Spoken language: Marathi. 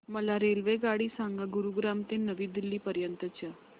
मला रेल्वेगाडी सांगा गुरुग्राम ते नवी दिल्ली पर्यंत च्या